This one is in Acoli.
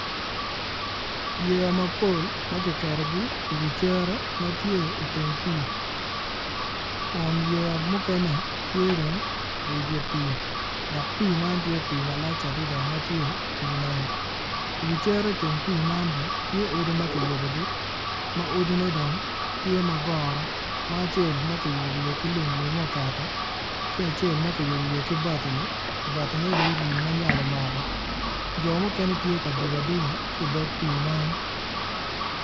Yeya mapol ma kiketogi iwi cere iteng pii kun yeya mukene tye dong iwi dye pii dok pii man tye pii malac adada ma tye pii nam iwi cere iteng pii man bene tye odi ma kiyubogi ma odine dong tye ma goro ma acel ma kiyubo wiye ki lum lumme oketo ki acel ma kiyubo wiye ki batini batine dong ori ma nyal omako jo mukene tye ka dugo aduga ki idog pii man.